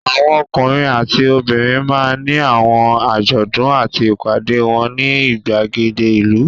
Àwọn ọkùnrin àti obìnrin máa ń ní àwọn àjọ̀dún àti ìpàdé wọn ní ìgbàgede ìlú.